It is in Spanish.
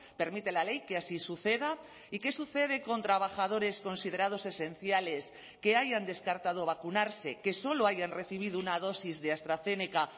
permite la ley que así suceda y qué sucede con trabajadores considerados esenciales que hayan descartado vacunarse que solo hayan recibido una dosis de astrazeneca